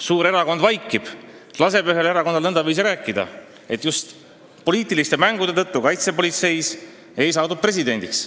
Suur erakond vaikib, laseb ühel erakonnal rääkida, et just poliitiliste mängude tõttu kaitsepolitseis ei saadud presidendiks.